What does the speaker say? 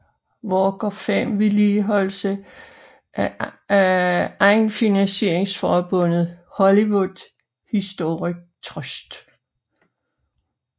Walk of Fame vedligeholdes af egenfinansieringsforbundet Hollywood Historic Trust